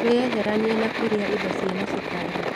Wĩyeheranie na kũrĩa indo cina macukari.